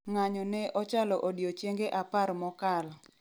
ng'anyo ne ochalo odiechenge apar mokalo